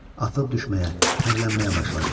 Atılıb düşməyə, hirlənməyə başladı.